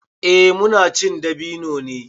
Eh muna cin dabino ne.